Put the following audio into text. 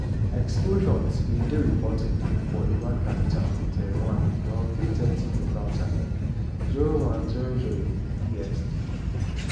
explosions bin dey reported for iran capital tehran around 03:30 local time (0100 bst).